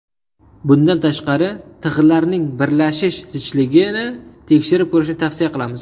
Bundan tashqari, tig‘larning birlashish zichligini tekshirib ko‘rishni tavsiya qilamiz.